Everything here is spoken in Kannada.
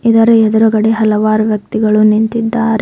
ಇದರ ಎದ್ರುಗಡೆ ಹಲವಾರು ವ್ಯಕ್ತಿಗಳು ನಿಂತಿದ್ದಾರೆ.